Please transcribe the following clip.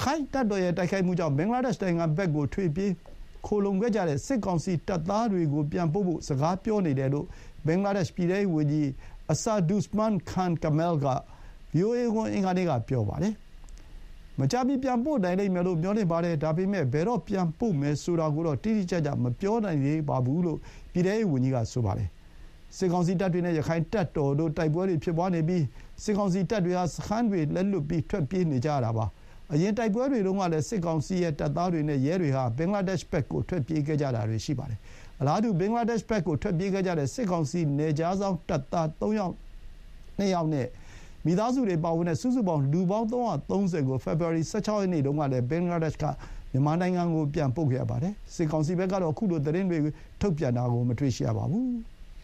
ခိုင့်တပ်တော်ရဲ့တိုက်ခိုက်မှုကြောင့် ဘင်္ဂလားဒေ့ရှ်နိုင်ငံဘက် ထွက်ပြေးခိုလှုံခဲ့ကြတဲ့ စစ်ကောင်စီတပ်သားတွေကို ပြန်ပို့ဖို့ စကားပြောနေတယ်လို့ ဘင်္ဂလားဒေ့ရှ်ပြည်ထဲရေးဝန်ကြီး အဆာဒုဇ်မန်း ခန် ကမဲလ် (Asaduzzaman Khan Kamal) က ဗွီအိုအေကို အင်္ဂါနေ့ က ပြောပါတယ်။ “မကြာမီ ပြန်ပို့နိုင်လိမ့်မယ်လို့ မျှော်လင့်ပါတယ်။ ဒါပေမဲ့ ဘယ်တော့ ပြန်ပို့မယ်ဆိုတာကိုတော့ တိတိကျကျ မပြောနိုင်သေးပါဘူး” လို့ ပြည်ထဲရေးဝန်ကြီးက ဆိုပါတယ်။ စစ်ကောင်စီတပ်တွေနဲ့ ရခိုင့်တပ်တော်တို့ တိုက်ပွဲတွေဖြစ်ပွါးနေပြီး စစ်ကောင်စီတပ်တွေ ဟာ စခန်းတွေလက်လွှတ်ပြီး ထွက်ပြေးနေကြရတာပါ။ အရင် တိုက်ပွဲတွေတုန်းကလည်း စစ်ကောင်စီရဲ့တပ်သားတွေနဲ့ ရဲတွေဟာ ဘင်္ဂလားဒေ့ရှ်ဘက်ကို ထွက်ပြေးခဲ့ကြတာတွေ ရှိပါတယ်။ အလားတူ ဘင်္ဂလားဒေ့ရှ်ဘက်ကို ထွက်ပြေးခဲ့ကြတဲ့ စစ်ကောင်စီ နယ်ခြားစောင့် တပ်သား ၃၀၂ ယောက်နဲ့ မိသားစုတွေပါဝင်တဲ့ စုစုပေါင်း လူပေါင်း ၃၃၀ ကို ဖေဖော်ဝါရီ ၁၆ ရက်နေ့တုန်းကလည်း ဘင်္ဂလားဒေ့ရှ်က မြန်မာနိုင်ငံကို ပြန်ပို့ခဲ့ရပါတယ်။ စစ်ကောင်စီဘက်ကတော့ ခုလို သတင်းတွေကို ထုတ်ပြန်တာ မတွေ့ရသေးပါဘူး။